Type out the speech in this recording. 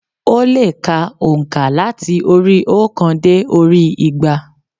Ó lè ka ònkà láti orí i óòkan dé orí i igba